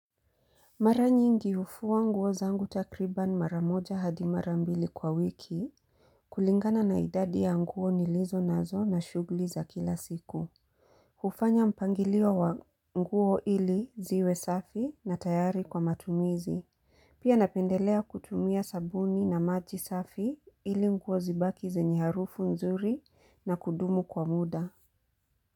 Mara nyingi hufua nguo zangu takriban maramoja hadi marambili kwa wiki kulingana na idadi ya nguo nilizo nazo na shughuli za kila siku. Hufanya mpangilio wa nguo ili ziwe safi na tayari kwa matumizi. Pia napendelea kutumia sabuni na maji safi ili nguo zibaki zenye harufu nzuri na kudumu kwa muda.